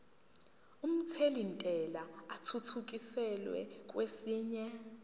omthelintela athuthukiselwa kwesinye